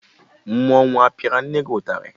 Mmọnwụ apịara nne gị ụtarị?